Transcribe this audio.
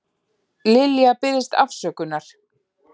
Lilja biðst afsökunar